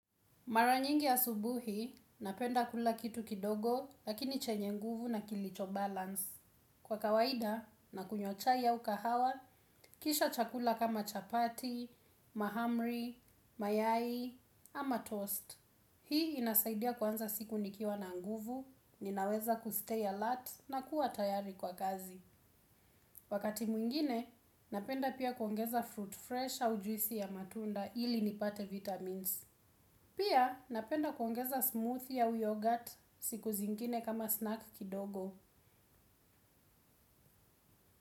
Maranyingi asubuhi, napenda kula kitu kidogo, lakini chenye nguvu na kilicho balance. Kwa kawaida, na kunywa chai aukahawa, kisha chakula kama chapati, mahamri, mayai, ama toast. Hii inasaidia kwanza siku nikiwa na nguvu, ninaweza kustay alert na kuwa tayari kwa kazi. Wakati mwingine, napenda pia kuongeza fruit fresh au juisi ya matunda ili nipate vitamins. Pia napenda kuongeza smoothie au yogurt siku zingine kama snack kidogo.